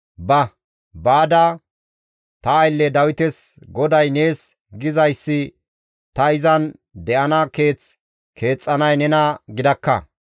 «Ba; baada ta aylle Dawites GODAY nees gizayssi ta izan de7ana keeth keexxanay nena gidakka.